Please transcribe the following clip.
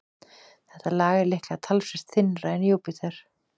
Þetta lag er líklega talsvert þynnra en í Júpíter.